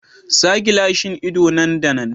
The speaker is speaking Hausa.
Sa gilashin ido nan da nan.